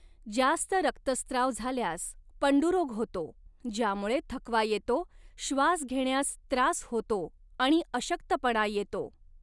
जास्त रक्तस्त्राव झाल्यास पंडुरोग होतो ज्यामुळे थकवा येतो, श्वास घेण्यास त्रास होतो आणि अशक्तपणा येतो.